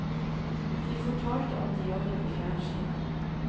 De fortalte at de jobbet i fjernsynet.